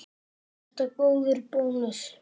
Er þetta góður bónus?